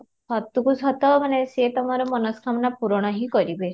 ସତକୁ ସତ ସେ ମାନେ ମନସ୍କାମନା ପୁରଣ ହିଁ କରିବେ